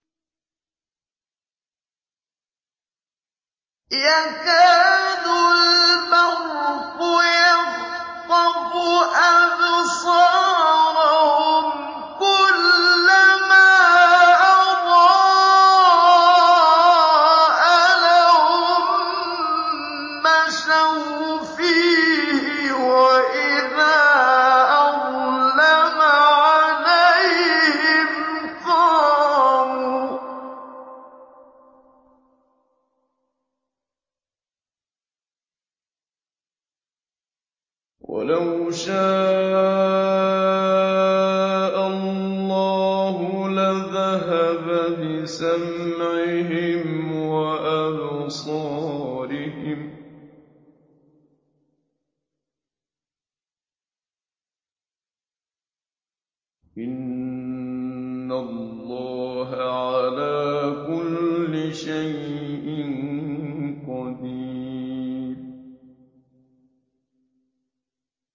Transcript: يَكَادُ الْبَرْقُ يَخْطَفُ أَبْصَارَهُمْ ۖ كُلَّمَا أَضَاءَ لَهُم مَّشَوْا فِيهِ وَإِذَا أَظْلَمَ عَلَيْهِمْ قَامُوا ۚ وَلَوْ شَاءَ اللَّهُ لَذَهَبَ بِسَمْعِهِمْ وَأَبْصَارِهِمْ ۚ إِنَّ اللَّهَ عَلَىٰ كُلِّ شَيْءٍ قَدِيرٌ